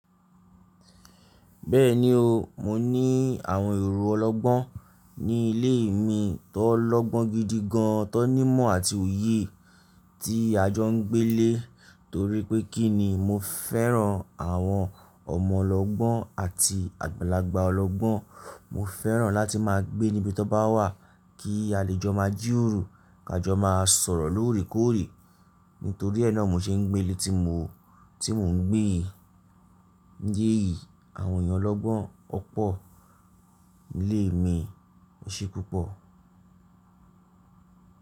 Bẹ́ẹ̀ni o, mo ní àwọn èrò ọlọ́gbọ́n ní ilé mi tọlọ́gbọ́n gidi gan an, tó nímọ̀ àti òye tí a jọ ń gbé lé. Torí pé kínni? Mo fẹ́ràn àwọn ọmọlọ́gbọ́n àti àgbàlagbà ọlọ́gbọ́n. Mo fẹ́ràn láti má a gbé níbi tó bá wà kí a lè jọ má a jí roro, ká jọ má a sọ̀rọ̀ lóòrèkóòrè. Nítorí ẹ́ náà mo ṣe ń gbé ilé ti mo, tí mò ń gbé yìí, jẹ yìí. Àwọn èyàn ọlọ́gbọ́n ó pọ̀ ní ilé mi. O ṣe púpọ̀.